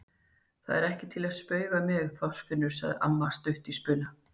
Það er ekki til að spauga með, Þorfinnur! sagði amma stutt í spuna.